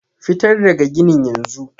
fitar daga ginin yanzu!